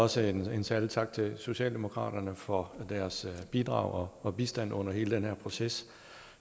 også en særlig tak til socialdemokraterne for deres bidrag og bistand under hele den her proces